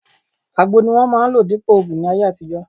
Àgbo ni wọ́n máà ń lò dípòo ògùn ní ayé àtijọ́